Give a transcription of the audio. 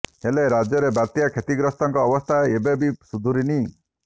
ହେଲେ ରାଜ୍ୟରେ ବାତ୍ୟା କ୍ଷତିଗ୍ରସ୍ତଙ୍କ ଅବସ୍ଥା ଏବେ ବି ସୁଧୁରିନି